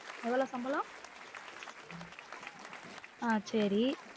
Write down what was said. எவ்வளோ சம்பளம் ஆஹ் சேரி